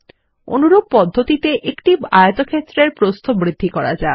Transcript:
অনুরূপ পদ্ধতিতে একটি আয়তক্ষেত্রের প্রস্থ বৃদ্ধি করা যাক